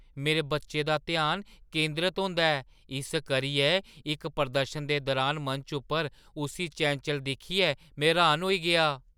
मेरे बच्चे दा ध्यान केंदरत होंदा ऐ, इस करियै इक प्रदर्शन दे दुरान मंच उप्पर उस्सी चैंचल दिक्खियै में र्‌हान होई गेआ।